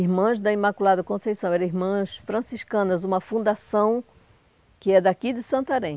Irmãs da Imaculada Conceição, eram irmãs franciscanas, uma fundação que é daqui de Santarém.